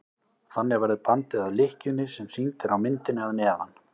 þannig verður bandið að lykkjunni sem sýnd er á myndinni að neðan